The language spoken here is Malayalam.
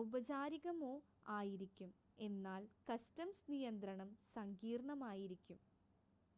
ഔപചാരികമോ ആയിരിക്കും എന്നാൽ കസ്റ്റംസ് നിയന്ത്രണം സങ്കീർണ്ണമായിരിക്കും